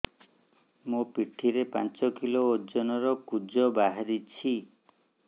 ମୋ ପିଠି ରେ ପାଞ୍ଚ କିଲୋ ଓଜନ ର କୁଜ ବାହାରିଛି